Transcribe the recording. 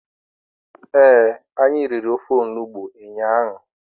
Ee, anyị riri ofe onugbu ụnyaahụ.